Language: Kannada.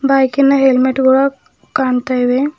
ಬೈಕಿನ ಹೆಲ್ಮೆಟ್ ಗಳು ಕಾಣ್ತಾ ಇವೆ.